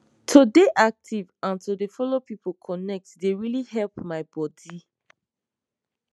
to dey active an to dey follow people connect dey really help my bodi